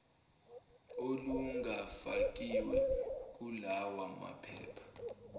olungafakiwe kulawa maphepha